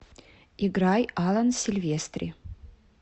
играй алан сильвестри